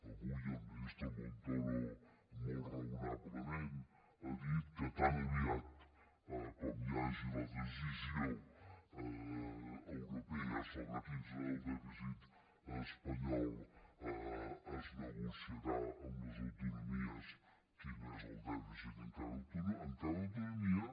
avui el ministre montoro molt raonablement ha dit que tan aviat com hi hagi la decisió europea sobre quin serà el dèficit espanyol es negociarà amb les autonomies quin és el dèficit a cada autonomia